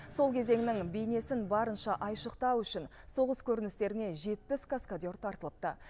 сол кезеңнің бейнесін барынша айшықтау үшін соғыс көріністеріне жетпіс каскадер тартылыпты